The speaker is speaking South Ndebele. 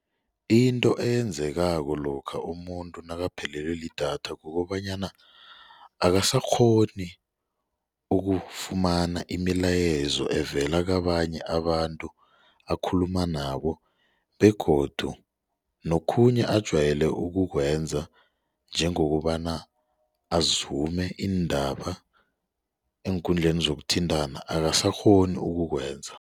Into eyenzekako lokha umuntu nakaphelelwe lidatha kukobanyana akasakghoni ukufumana imilayezo evela kabanye abantu akhuluma nabo begodu nokhunye ajayele ukukwenza njengokobana azume iindaba eenkundleni zokuthintana akasakghoni ukukwenza.